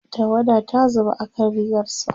tawada ta zuba akan rigarsa